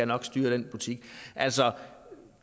nok styre den butik altså